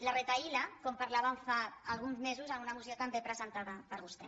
la retahíla com parlàvem fa alguns mesos en una moció també presentada per vostè